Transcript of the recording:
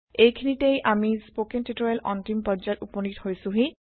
এইখিনিতে আমি স্পৌকেন টিওটৰিয়েলৰ অন্তিম পৰ্যায়ত উপনীত হৈছোহি